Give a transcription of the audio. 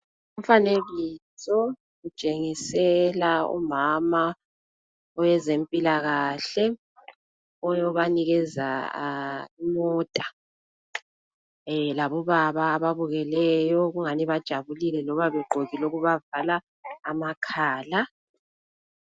Umfanekiso utshengisela umama owezempilakahle oyobanikeza imota. Labobaba ababukeleyo, kungani bajabulile loba begqokile okubavala amakhala.